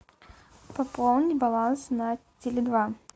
пополнить баланс на теле два